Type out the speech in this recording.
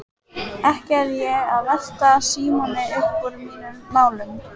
Ekki er ég að velta Símoni uppúr mínum málum.